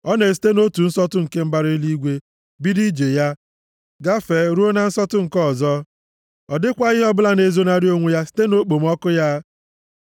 Ọ na-esite nʼotu nsọtụ nke mbara eluigwe, bido ije ya, gafee ruo na nsọtụ nke ọzọ. Ọ dịkwaghị ihe ọbụla na-ezonarị onwe ya site nʼokpomọkụ ya.